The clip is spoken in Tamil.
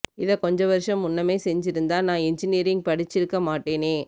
இத கொஞ்ச வருசம் முன்னமே செஞ்சிருந்தா நா எஞ்சினீரிங் படிச்சிருக்க மாட்டனே